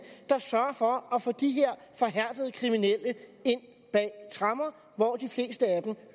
der sørger for at få de her forhærdede kriminelle ind bag tremmer hvor de fleste af dem